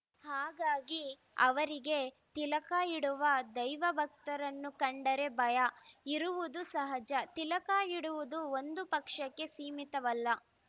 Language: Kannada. ಹಾಗಾಗಿ ಅವರಿಗೆ ತಿಲಕ ಇಡುವ ದೈವ ಭಕ್ತರನ್ನು ಕಂಡರೆ ಭಯ ಇರುವುದು ಸಹಜ ತಿಲಕ ಇಡುವುದು ಒಂದು ಪಕ್ಷಕ್ಕೆ ಸೀಮಿತವಲ್ಲ